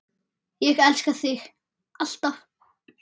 Ég elska þig. alltaf.